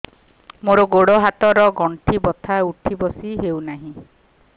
ମୋର ଗୋଡ଼ ହାତ ର ଗଣ୍ଠି ବଥା ଉଠି ବସି ହେଉନାହିଁ